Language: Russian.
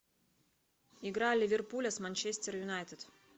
игра ливерпуля с манчестер юнайтед